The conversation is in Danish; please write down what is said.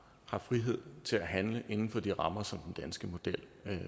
har frihed til at handle inden for de rammer som den danske model